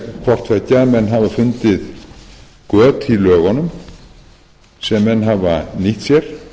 hafa fundið göt í lögunum sem menn hafa nýtt sér